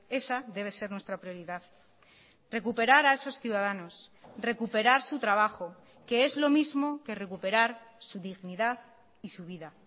esa debe ser nuestra prioridad recuperar a esos ciudadanos recuperar su trabajo que es lo mismo que recuperar su dignidad y su vida